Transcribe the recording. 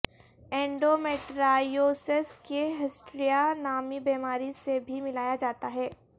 endometriosis کو hysteria نامی بیماری سے بھی ملایا جاتا ہے